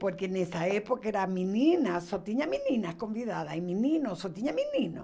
Porque nessa época era meninas, só tinha meninas convidadas e meninos, só tinha meninos.